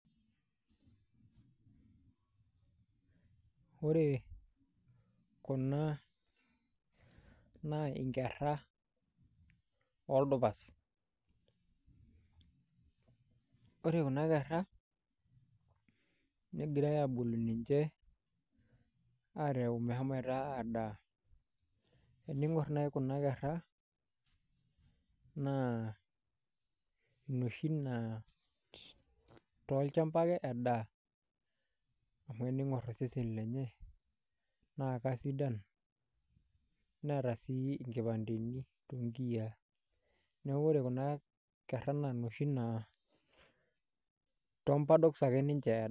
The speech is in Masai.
Ore kuna naa inkera ooldupas. Ore kuna kera negirai aabolu ninje meshomoita aadaa, teniinkor naayi kuna kera naa inoshi naa tolchamba ake edaa, amu teniinkor iseseni lenye naa kaisidan neeta sii inkipandeni too nkiyia. Neeku ore kuna kera naa inoshi naa toombadoks ake ninje edaa.